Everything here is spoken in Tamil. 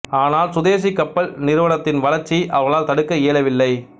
ஆனால் சுதேசி கப்பல் நிறுவனத்தின் வளர்ச்சியை அவர்களால் தடுக்க இயலவில்லை